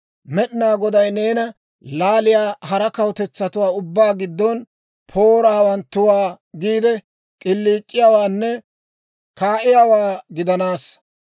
Med'inaa Goday neena laaliyaa hara kawutetsatuwaa ubbaa giddon poora hawanttuwaa giide, k'iliic'iyaawaanne ka"iyaawaa gidanassa.